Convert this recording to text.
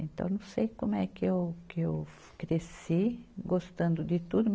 Então, não sei como é que eu, que eu cresci gostando de tudo.